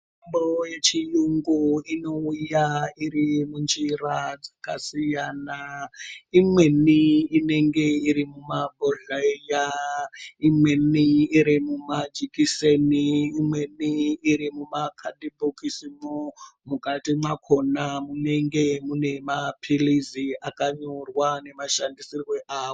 Mitombo yechiyungu inouya iri munjira dzakasiyana. Imweni inenge iri mumabhodhleya, imweni iri mumajikiseni. Imweni iri mumakadhibhokisimwo. Mukati mwakona munenge mune maphilizi akanyorwa nemashandisirwe awo.